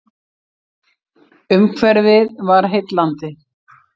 Umhverfið var heillandi.